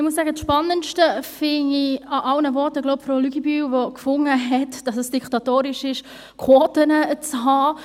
Ich muss sagen, das Spannendste bei allen Voten finde ich jenes von Frau Luginbühl, die fand, dass es diktatorisch sei, Quoten zu haben.